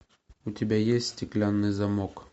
у тебя есть стеклянный замок